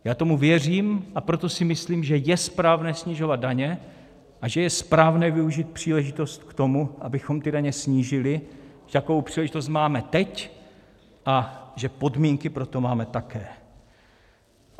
Já tomu věřím, a proto si myslím, že je správné snižovat daně a že je správné využít příležitost k tomu, abychom ty daně snížili, takovou příležitost máme teď, a že podmínky pro to máme také.